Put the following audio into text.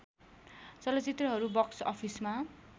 चलचित्रहरू बक्स अफिसमा